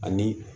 Ani